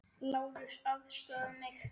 LÁRUS: Aðstoða mig!